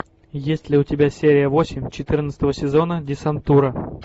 есть ли у тебя серия восемь четырнадцатого сезона десантура